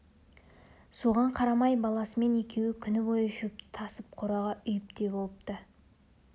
соған қарамай баласымен екеуі күні бойы шөпті тасып қораға үйіп те болыпты